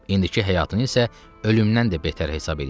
İndiki həyatını isə ölümdən də betər hesab eləyirdi.